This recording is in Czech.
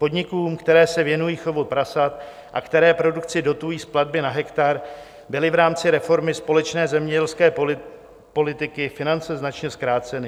Podnikům, které se věnují chovu prasat a které produkci dotují z platby na hektar, byly v rámci reformy společné zemědělské politiky finance značně zkráceny.